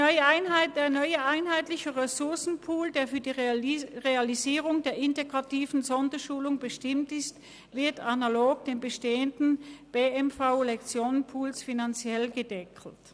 Der neue einheitliche Ressourcenpool, der für die Realisierung der integrativen Sonderschulung bestimmt ist, wird analog zum bestehenden BMV-Lektionenpool finanziell gedeckelt.